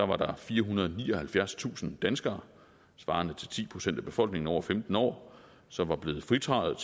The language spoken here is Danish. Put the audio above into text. var der firehundrede og nioghalvfjerdstusind danskere svarende til ti procent af befolkningen over femten år som var blevet fritaget